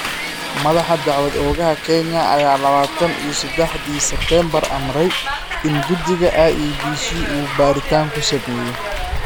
Madaxa dacwad oogaha Kenya ayaa -lawatan iyo sedaxdii Sebtembar amray in guddiga IEBC uu baaritaan ku sameeyo.